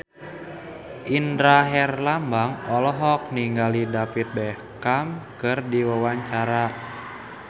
Indra Herlambang olohok ningali David Beckham keur diwawancara